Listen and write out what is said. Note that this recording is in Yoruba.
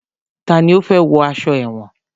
Tani ó fẹ́ wọ aṣọ èwọ̀n?